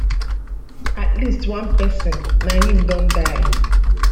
at least one pesin na im don die